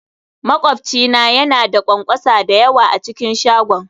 Makwabci na yana da ƙwanƙwasa da yawa a cikin shagon